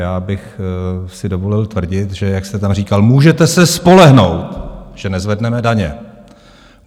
Já bych si dovolil tvrdit, že jak jste tam říkal: Můžete se spolehnout, že nezvedneme daně;